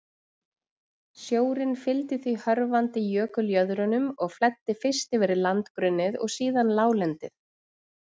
Sjórinn fylgdi því hörfandi jökuljöðrunum og flæddi fyrst yfir landgrunnið og síðan láglendið.